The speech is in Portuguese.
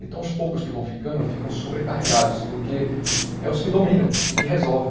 Então os poucos que vão ficando, ficam sobrecarregados, porque é os que dominam e que resolvem.